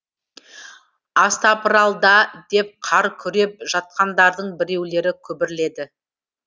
астапыралда деп қар күреп жатқандардың біреулері күбірледі